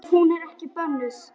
Jú, út af þessu.